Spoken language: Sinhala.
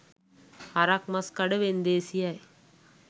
හරක් මස් කඩ වෙන්දේසියයි.